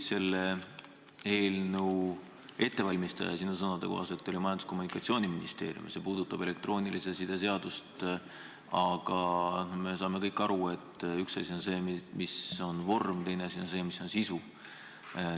Selle eelnõu ettevalmistaja sinu sõnade kohaselt oli Majandus- ja Kommunikatsiooniministeerium – see puudutab elektroonilise side seadust –, aga me kõik saame aru, et üks asi on see, mis on vorm, ja teine asi on see, mis on sisu.